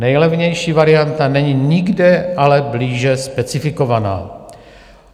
Nejlevnější varianta není ale nikde blíže specifikovaná.